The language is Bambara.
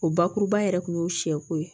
O bakuruba yɛrɛ kun y'o sɛko ye